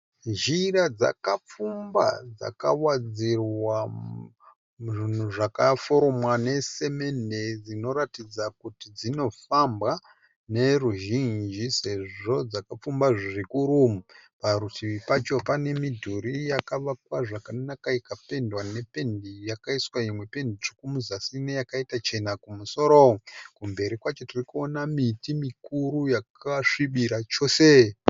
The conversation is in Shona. Zhira dzakapfumba dzakawadzirwa zvinhu zvakaforomwa nesemende dzinoratidza kuti dzinofambwa noruzhinji sezvo dzakapfumba zvikuru. Parutivi pacho pane midhuri yakavakwa zvakanaka ikapendwa nependi yakaiswa imwe pendi tsvuku muzasi meyakaita chena kumusoro. Kumberi kwacho tiri kuona miti mikuru yakasvibira chose.